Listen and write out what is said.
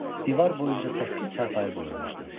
Divar boyunca səkkiz çarpayı qoyulmuşdu.